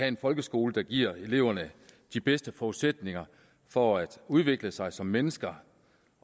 en folkeskole der giver eleverne de bedste forudsætninger for at udvikle sig som mennesker